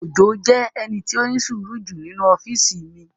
Òjó jẹ́ ẹni tí ó ní sùúrù jù nínu ọ́físì mi